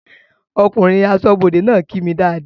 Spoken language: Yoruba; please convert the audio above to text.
Ọkùnrin aṣọ́bọdè náà kí mi dáadáa